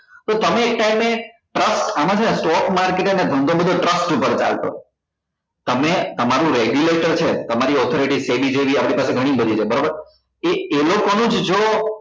તો તમે એક time એ trust આમા શુ છે stock market નો ને ધંધો બધો trust ઉપર ચાલતો હોય તમે તમારું regular તો છે તમારી authority આપડી પાસે ગણી બધી છે બરાબર એ એ લોકો નું જ જોવો